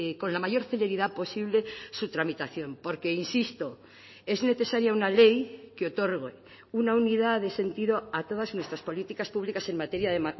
con la mayor celeridad posible su tramitación porque insisto es necesaria una ley que otorgue una unidad de sentido a todas nuestras políticas públicas en materia de